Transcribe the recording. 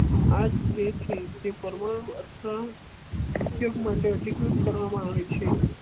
આજ તેથી જે પરમાણુ ઉપયોગ માટે અધિકૃત કરવામાં આવે છે